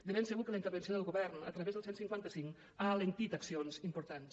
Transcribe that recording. de ben segur que la intervenció del govern a través del cent i cinquanta cinc ha alentit accions importants